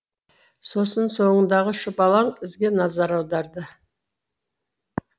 сосын соңындағы шұбалаң ізге назар аударды